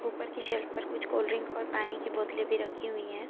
ऊपर की शेल्फ पर कुछ कोल्ड ड्रिंक और पानी की बोतले भी रखी हुई है।